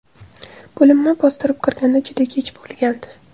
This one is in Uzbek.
Bo‘linma bostirib kirganda juda kech bo‘lgandi.